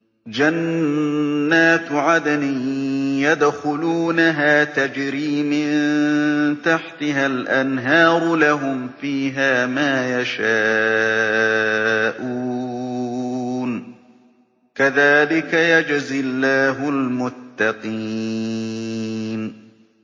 جَنَّاتُ عَدْنٍ يَدْخُلُونَهَا تَجْرِي مِن تَحْتِهَا الْأَنْهَارُ ۖ لَهُمْ فِيهَا مَا يَشَاءُونَ ۚ كَذَٰلِكَ يَجْزِي اللَّهُ الْمُتَّقِينَ